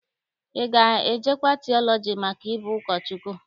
Ị ga-ejekwa tiọlọji maka ịbụ ụkọchukwu?